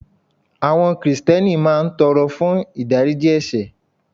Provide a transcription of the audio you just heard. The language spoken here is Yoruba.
Àwọn Krìsìtẹ́nì máa ń tọrọ fún ìdáríjì ẹ̀sẹ̀